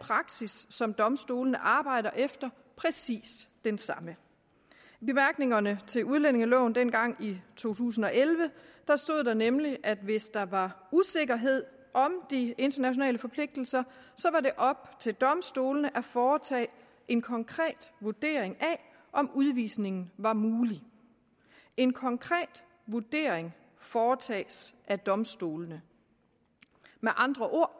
praksis som domstolene arbejder efter præcis den samme i bemærkningerne til udlændingeloven dengang i to tusind og elleve stod der nemlig at hvis der var usikkerhed om de internationale forpligtelser var det op til domstolene at foretage en konkret vurdering af om udvisningen var mulig en konkret vurdering foretages af domstolene med andre ord